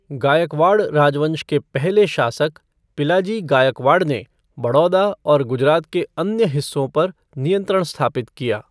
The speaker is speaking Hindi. गायकवाड़ राजवंश के पहले शासक पिलाजी गायकवाड़ ने बड़ौदा और गुजरात के अन्य हिस्सों पर नियंत्रण स्थापित किया।